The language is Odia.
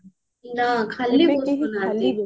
ନା ଖାଲି ବସୁନାହାନ୍ତି